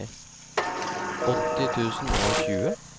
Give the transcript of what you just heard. åtti tusen og tjue